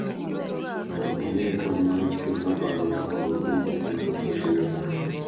Mondo omiye kony mar chuny ma dwarore mondo orit winjruok motegno.